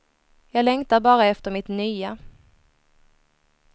Jag längtar bara efter mitt nya.